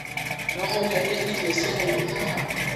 No nyone irio cia raithi haha?